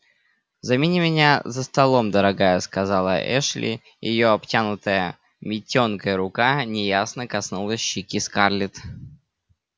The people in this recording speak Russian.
замени меня за столом дорогая сказала эллин и её обтянутая митенкой рука неясно коснулась щеки скарлетт